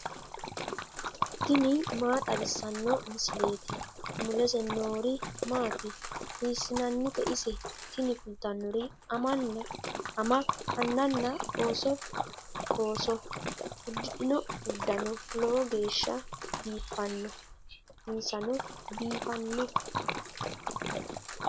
tini maa xawissanno misileeti ? mulese noori maati ? hiissinannite ise ? tini kultannori ama annanna ooso. uddidhino uddano lowo geeshsha biiffanno insano biiffanno.